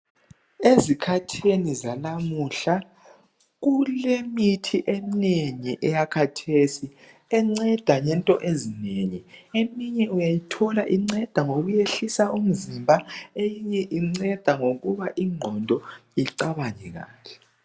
Ezikhathini zalamuhla, kulemithi eminengi eyakhathesi enceda ngento ezinengi. Eminye uyayithola inceda ngokwehlisa umzimba eyinye inceda ngokuba ingqondo icabange kahle.